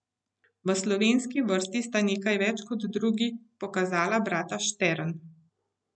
V slovenski vrsti sta nekaj več kot drugi pokazala brata Štern.